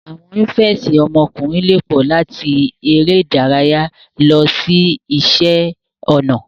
Awọn ìnifẹ̀ẹ́si ọmọkùnrin lè pọ, làti eré ìdárayá lọ si iṣẹ ọnà.